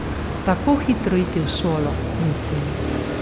Tako hitro iti v šolo, mislim.